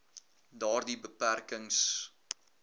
daardie beperk ings